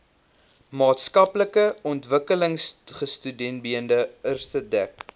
maatskaplike ontwikkelingstudiebeurse dek